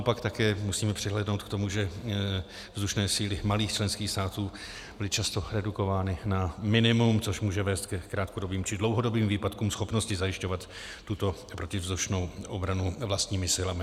A pak také musíme přihlédnout k tomu, že vzdušné síly malých členských států byly často redukovány na minimum, což může vést ke krátkodobým či dlouhodobým výpadkům schopnosti zajišťovat tuto protivzdušnou obranu vlastními silami.